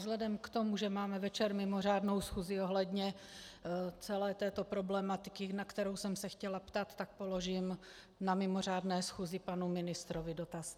Vzhledem k tomu, že máme večer mimořádnou schůzi ohledně celé této problematiky, na kterou jsem se chtěla ptát, tak položím na mimořádné schůzi panu ministrovi dotaz.